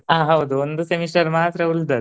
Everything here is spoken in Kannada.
ಆ ಹೌದು ಒಂದು semester ಮಾತ್ರ ಉಳ್ದದ್ದು.